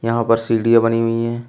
यहां पर सीढ़ियां बनी हुई हैं।